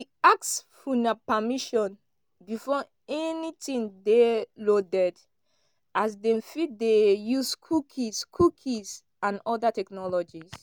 we ask for una permission before anytin dey loaded as dem fit dey use cookies cookies and oda technologies.